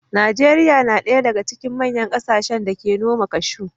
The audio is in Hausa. Najeriya na ɗaya daga cikin manyan kasashen da ke noman cashew.